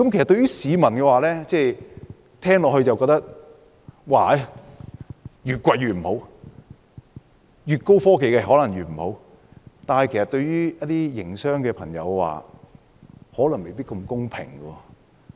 對於市民來說，聽罷這些測試便覺得價格越高越不好，越高科技可能越不好，但其實對於一些營商朋友未必公平。